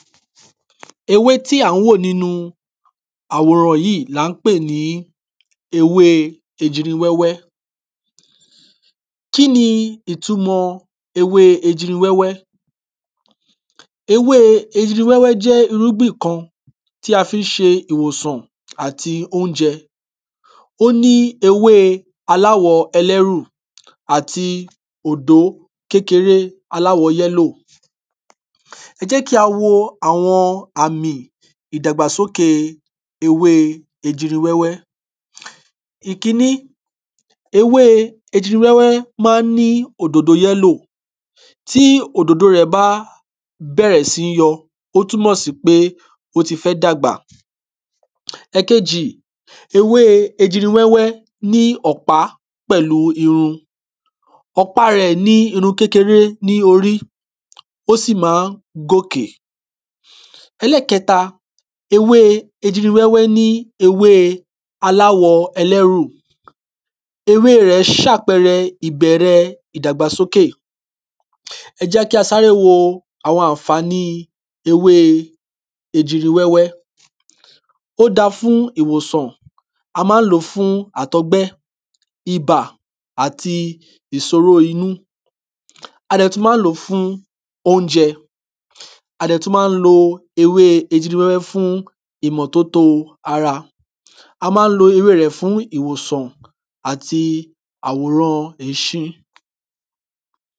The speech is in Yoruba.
? ewé tí à n wò nínu àwòran yí ní à n pè ní ewé ejiri wẹ́wẹ́ kíni ìtunmọ̀ ewé ejiri wẹ́wẹ́? ewé ejiri wẹ́wẹ́ jẹ́ irúngbìn kan tí a fí n ṣe ìwòsàn àti oúnjẹ óní ewé aláwọ ẹlẹ́rù àti òdó kékeré aláwo yellow? ẹjẹ́kí a wo àwọn àmì ìdàgbàsókè ewé ejiri wẹ́wẹ́? ìkíní ewé ejiri wẹ́wẹ́ ma n ní òdòdó yellow tí òdòdó rẹ̀ bá bẹ̀rẹ̀ sí yọ ó túnmọ̀ sí pé ó ti fẹ́ dàgbà? ẹ̀kejì ewé ejiri wẹ́wẹ́ ní ọ̀pá pẹ̀lú irun ọ̀pá rẹ̀ ní irun kẹ́kẹrẹ́ ní orí? ó sì má gòkè ẹ̀lẹ́kẹta ewé ejiri wẹ́wẹ́ ní ewé aláwọ ẹlẹ́rù ewé rẹ̀ ṣàpẹrẹ ìbẹ̀rẹ ìdàgbàsókè? ẹjẹ́kí a sáré wo àwọn ànfààní ewé ejiri wẹ́wẹ́ ó da fún ìwòsàn a má n lò fún àtọgbẹ́ ìbà àti ìsoró inú? a dẹ̀ tún má n lò fún oúnjẹ? a dẹ̀ tún má n lo ewé ejiri wẹ́wẹ́ fún ìmọ̀tótó ara á má n lò ewé rẹ̀ fún ìwòsàn àti àwọ̀rán ìsin